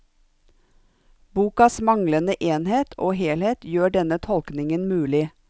Bokas manglende enhet og helhet gjør denne tolkningen mulig.